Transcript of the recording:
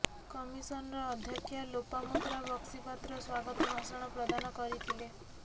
commissioner ଅଧ୍ୟକ୍ଷା ଲୋପାମୁଦ୍ରା ବକ୍ସିପାତ୍ର ସ୍ୱାଗତ ଭାଷଣ ପ୍ରଦାନ କରିଥିଲେ